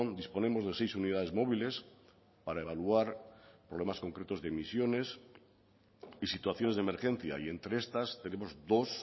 disponemos de seis unidades móviles para evaluar problemas concretos de emisiones y situaciones de emergencia y entre estas tenemos dos